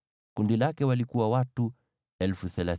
Kundi lake lina watu 35,400.